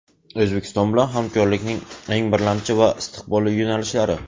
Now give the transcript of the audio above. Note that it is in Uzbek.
O‘zbekiston bilan hamkorlikning eng birlamchi va istiqbolli yo‘nalishlari.